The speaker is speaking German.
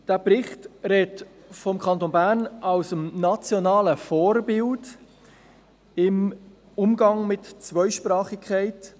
Dieser Bericht spricht vom Kanton Bern als dem nationalen Vorbild im Umgang mit Zweisprachigkeit.